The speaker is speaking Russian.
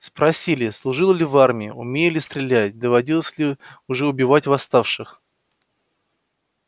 спросили служил ли в армии умею ли стрелять доводилось ли уже убивать восставших